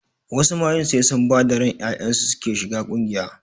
Wasu mayun sai sun bada ran ƴaƴansu suke shiga ƙungiya